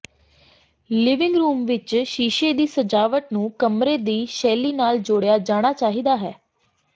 living room ਵਿੱਚ ਸ਼ੀਸ਼ੇ ਦੀ ਸਜਾਵਟ ਨੂੰ ਕਮਰੇ ਦੀ ਸ਼ੈਲੀ ਨਾਲ ਜੋੜਿਆ ਜਾਣਾ ਚਾਹੀਦਾ ਹੈ